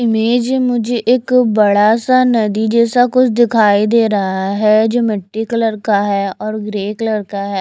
Image मुझे एक बड़ा सा नदी जैसा कुछ दिखाई दे रहा है जो मिट्टी कलर का है और ग्रे कलर का है।